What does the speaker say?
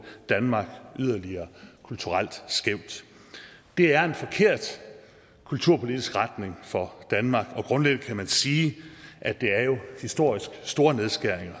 danmark yderligere kulturelt skævt det er en forkert kulturpolitisk retning for danmark og grundlæggende kan man sige at det er historisk store nedskæringer